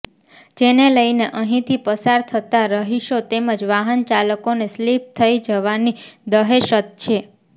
જેને લઇને અહીંથી પસાર થતાં રહીશો તેમજ વાહન ચાલકોને સ્લીપ થઇ જવાની દહેશત છે